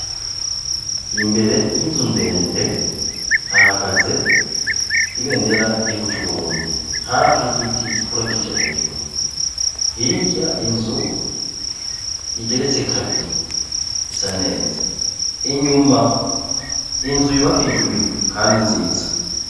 Imbere y' inzu ndende hahagaze ibendera ry' igihugu c' Uburundi hafi y'igiti gikura kija hejuru hirya inzu igeretse kabiri isa neza inyuma inzu yubakishijwe ibiyo kandi nziza.